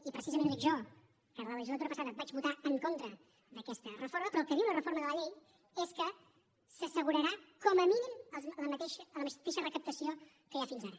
i precisament ho dic jo que la legislatura passada vaig votar en contra d’aquesta reforma però el que diu la reforma de la llei és que s’assegurarà com a mínim la mateixa recaptació que hi ha fins ara